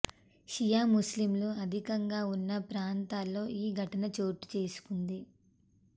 షియా ముస్లింలు అధికంగా ఉన్న ప్రాతంలో ఈ ఘటన చోటు చేసుకుంది